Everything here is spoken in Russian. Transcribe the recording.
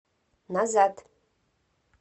назад